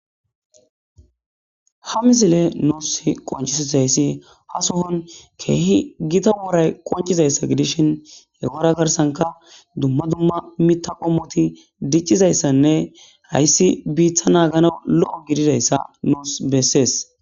ha misile nuus qoncisis hayssi ha sohon keehi gita woray qoncizayssa gidishin hegora karsanka dumma dumma mita qomoti diccizayssanne hayssi biitha naagana lo7o gididayssa noos bessees